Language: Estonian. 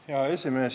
Hea esimees!